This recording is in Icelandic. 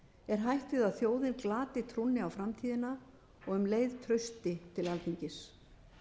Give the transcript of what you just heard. er hætt við að þjóðin glati trúnni á framtíðina og um leið trausti til alþingis